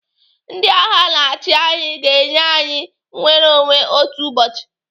Ndị agha na-achi anyị ga-enye anyị nnwereonwe otu ụbọchị.